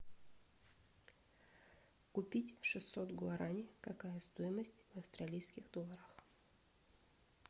купить шестьсот гуарани какая стоимость в австралийских долларах